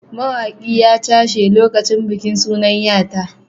Wani mawaƙi ya cashe lokacin bikin sunan ya ta.